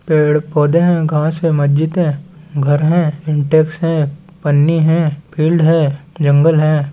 पेड़ - पौधे है घास है मस्जिद है घर है इंटैक्स है पन्नी हैं फील्ड है जंगल हैं।